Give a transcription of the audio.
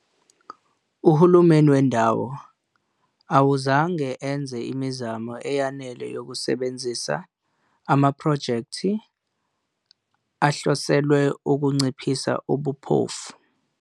Uhulumeni wendawo awuzange enze imizamo eyanele yokusebenzisa amaphrojekthi ahloselwe ukunciphisa ubumpofu.